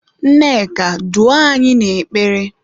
Nneka, duo anyị n'ekpere!